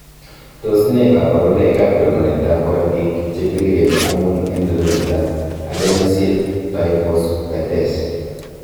Tos nee koborunoikab rorunetab korotik chebiriren amun en rorunetab Adenosine triphosphatase?